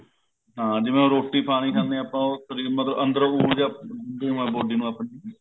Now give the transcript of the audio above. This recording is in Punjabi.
ਹਾਂ ਜਿਵੇਂ ਹੁਣ ਰੋਟੀ ਪਾਣੀ ਖਾਂਦੇ ਹਾਂ ਆਪਾਂ ਉਹ ਉੱਥੋਂ ਦੀ ਮਤਲਬ ਅੰਦਰੋ ਊਰਜਾ body ਨੂੰ ਆਪਣੀ